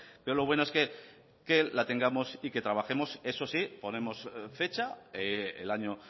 pero lo bueno es que la tengamos y que trabajemos eso sí ponemos fecha el año